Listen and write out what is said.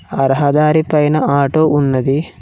ఆ రహదారి పైన ఆటో ఉన్నది.